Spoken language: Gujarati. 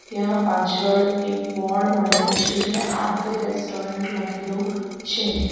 ત્યાં પાછળ એક બોર્ડ મારેલુ છે જ્યાં આર_કે રેસ્ટોરન્ટ લખેલુ છે.